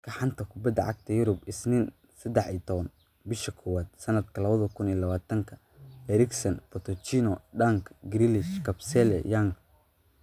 Wararka xanta kubada cagta Yurub Isniin 13.01.2020: Eriksen, Pochettino, Dunk, Grealish, Kabasele, Young